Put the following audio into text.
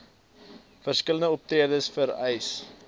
verskillende optredes vereis